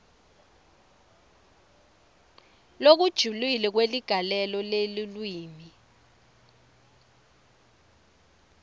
lokujulile kweligalelo lelulwimi